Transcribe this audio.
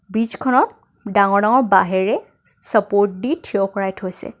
Beats খনক ডাঙৰ ডাঙৰ বাঁহেৰে চা-চাপৰ্ট দি থিয় কৰাই থৈ দিছে.